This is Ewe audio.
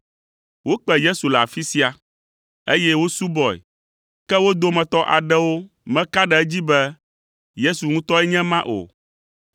Wokpe Yesu le afi sia, eye wosubɔe, ke wo dometɔ aɖewo meka ɖe edzi be Yesu ŋutɔe nye ema o.